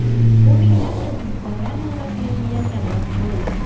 Bu minglab tadbirkorlar noroziligiga sabab bo‘ldi.